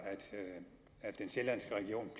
at den sjællandske region